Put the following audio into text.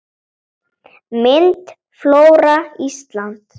Mynd: Flóra Íslands